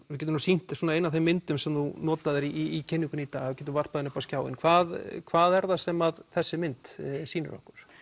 við getum sýnt eina af þeim myndum sem þú notaðir í kynningunni í dag við getum varpað henni hér upp á skjáinn hvað hvað er það sem þessi mynd sýnir okkur